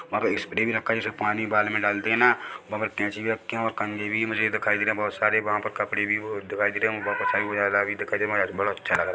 यहाँ पर स्प्रे भी रखा है जैसे पानी बाल में डालते है ना वहाँ पर कैंची भी रखी हुई और कंघी भी मुझे दिखाई दे रहे बहोत सारे वहाँ पर कपड़े भी दिखाई दे रहे है बड़ा अच्छा लग रहा हैं।